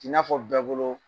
I n'a fɔ bɛɛ bolo